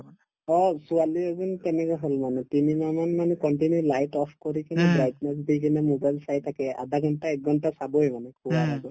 অ, ছোৱালি এজনীৰো তেনেকুৱা হল মানে তিনিমাহ মান মানে continue light off কৰি কিনে brightness দি কিনে mobile চাই থাকে আধা ঘণ্টা একঘণ্টা চাবই মানে শুৱাৰ আগেই